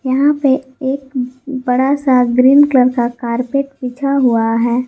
यहां पे एक बड़ा सा ग्रीन कलर का कारपेट बिछा हुआ है।